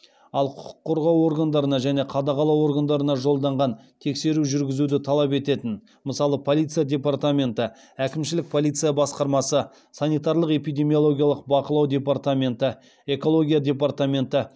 ал құқық қорғау органдарына және қадағалау органдарына жолданған тексеру жүргізуді талап ететін мысалы полиция департаменті әкімшілік полиция басқармасы санитарлық эпидемиологиялық бақылау департаменті экология департаменті